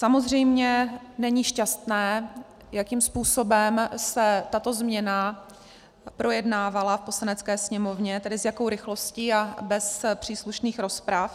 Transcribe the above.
Samozřejmě není šťastné, jakým způsobem se tato změna projednávala v Poslanecké sněmovně, tedy s jakou rychlostí a bez příslušných rozprav.